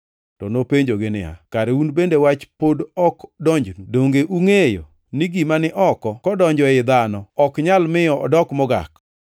To nopenjogi niya, “Kare un bende wach pod ok donjnu? Donge ungʼeyo ni gima ni oko kodonjo ei dhano ok nyal miyo odok mogak?